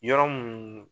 Yɔrɔ mun